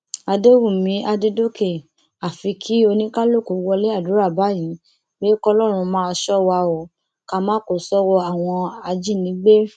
àdẹwùmí àdẹdọkẹ àfi kí oníkálùkù wọlé àdúrà báyìí pé kọlọrun máa ṣọ wa o ká má kó sọwọ àwọn ajínigbé